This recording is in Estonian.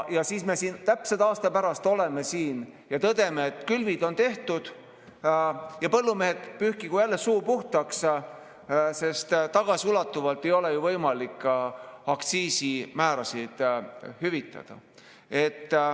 Ja siis me täpselt aasta pärast oleme siin ja tõdeme, et külvid on tehtud ja põllumehed pühkigu jälle suu puhtaks, sest tagasiulatuvalt ei ole võimalik aktsiisimäärasid hüvitada.